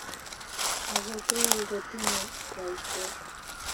Agetul kotinye baishet